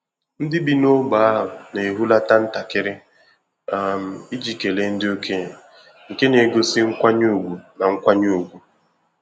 Ndị bi n’ógbè ahụ na-ehulata ntakịrị um iji kelee ndị okenye, nke na-egosi nkwanye ùgwù na nkwanye ùgwù.